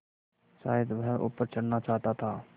शायद वह ऊपर चढ़ना चाहता था